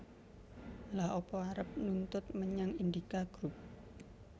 Lha apa arep nuntut menyang Indika Group